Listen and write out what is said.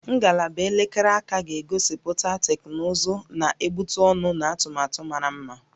Ngalaba elekere aka ga-egosipụta teknụzụ na-egbutu ọnụ na atụmatụ mara mma